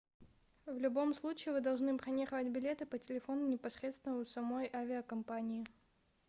в любом случае вы должны бронировать билеты по телефону непосредственно у самой авиакомпании